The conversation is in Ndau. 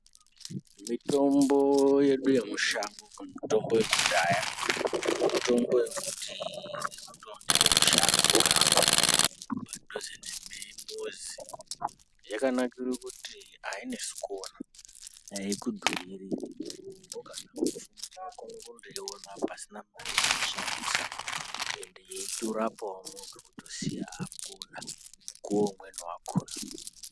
Mitombo yedu yemushango kana kuti mitombo yekudhaya. Mitombo yekuti inotooneke mushango kana kuti padhuze nemuzi. Yakanire kuti hainesi kuona, haikudhuriri, onondoiona pasina mare yawashindosa endi yeitorapawo muntu kutosiya apora mukuwo imweni wakona.